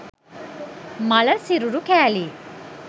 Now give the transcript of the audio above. මළ සිරුරු කෑලි